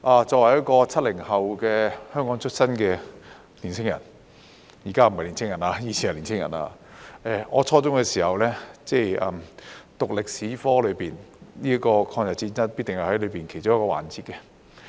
作為一個 "70 後"在香港出生的年輕人——現在不是年輕人了，以前是年輕人——我在初中時修讀歷史科，抗日戰爭必定是其中一個環節。